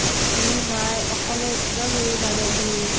এ নাই। অকলে এক্দম এৰি নাযাবি।